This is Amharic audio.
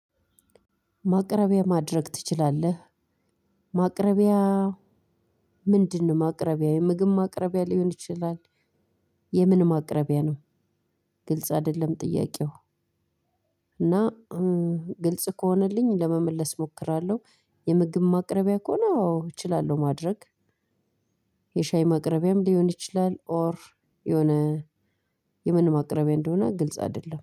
ማቅረቢያ ማድረግ ትችላለህ። ማቅረቢያ ምንድነው? ማቅረቢያ የምግብ ማቅረቢያ ሊሆን ይችላል። የምን ማቅረቢያ ነው። ግልጽ አይደለም ጥያቄው። እና ግልጽ ከሆነልኝ ለመመለስ እሞክራለሁ። የምግብ ማቅረቢያ ከሆነ አዎ እችላለሁ ማድረግ። የሻይ ማቅረቢያም ሊሆን ይችላል ኦር የሆነ የምን ማቅረቢያ እንደሆነ ግልጽ አይደለም